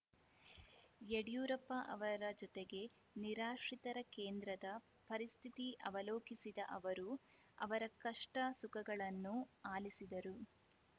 ಯಡಿಯೂರಪ್ಪ ಅವರ ಜತೆಗೆ ನಿರಾಶ್ರಿತರ ಕೇಂದ್ರದ ಪರಿಸ್ಥಿತಿ ಅವಲೋಕಿಸಿದ ಅವರು ಅವರ ಕಷ್ಟಸುಖಗಳನ್ನು ಆಲಿಸಿದರು